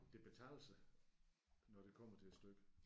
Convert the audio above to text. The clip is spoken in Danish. Det betaler sig når det kommer til stykket